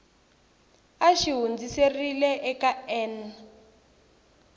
a xi hundziserile eka n